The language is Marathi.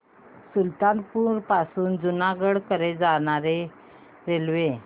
सुल्तानपुर पासून जुनागढ कडे जाणारी रेल्वे